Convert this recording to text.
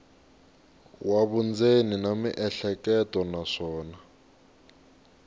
wa vundzeni na miehleketo naswona